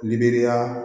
Libiriya